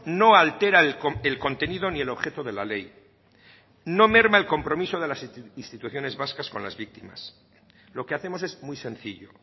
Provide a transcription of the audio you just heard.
no altera el contenido ni el objeto de la ley no merma el compromiso de las instituciones vascas con las víctimas lo que hacemos es muy sencillo